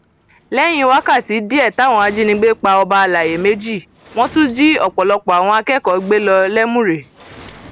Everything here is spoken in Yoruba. lẹyìn wákàtí díẹ táwọn ajínigbé pa ọba àlàyé méjì wọn tún jí ọpọlọpọ àwọn akẹkọọ gbé lọ lẹmúrè